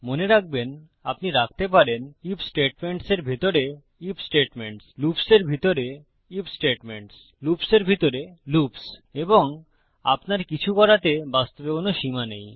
মনে রাখবেন আপনি রাখতে পারেন আইএফ স্টেটমেন্টসের ভিতরে আইএফ স্টেটমেন্টস লুপ্সের ভিতরে আইএফ স্টেটমেন্টস লুপ্সের ভিতরে লুপ্স এবং আপনার কিছু করাতে বাস্তবে কোনো সীমা নেই